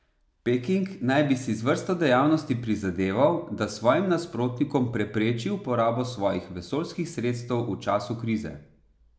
Peking naj bi si z vrsto dejavnosti prizadeval, da svojim nasprotnikom prepreči uporabo svojih vesoljskih sredstev v času krize.